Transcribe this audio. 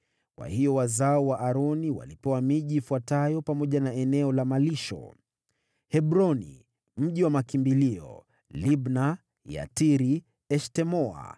Kwa hiyo wazao wa Aroni walipewa miji ifuatayo pamoja na eneo la malisho: Hebroni (mji wa makimbilio), Libna, Yatiri, Eshtemoa,